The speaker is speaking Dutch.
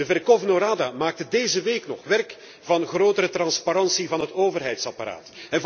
De Verchovno Rada maakte deze week nog werk van grotere transparantie van het overheidsapparaat.